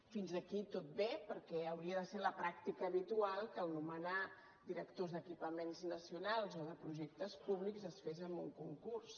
fins aquí tot bé perquè hauria de ser la pràctica habitual que nomenar directors d’equipaments nacionals o de projectes públics es fes amb un concurs